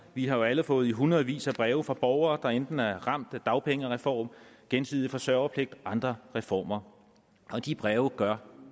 vi har jo alle fået i hundredvis af breve fra borgere der enten er ramt af dagpengereform gensidig forsørgerpligt og andre reformer og de breve gør